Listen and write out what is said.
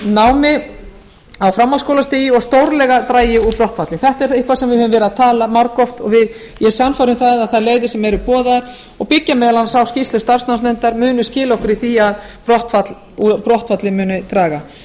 námi á framhaldsskólastigi og stórlega dragi úr brottfalli þetta er eitthvað sem við höfum verið að tala margoft og ég er sannfærð um að þær leiðir sem hafa verið boðaðar og byggja meðal annars á skýrslu starfsmanna nefndar munu skila okkur í því að úr brottfalli muni draga